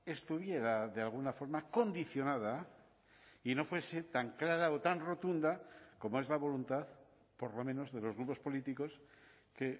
estuviera de alguna forma condicionada y no fuese tan clara o tan rotunda como es la voluntad por lo menos de los grupos políticos que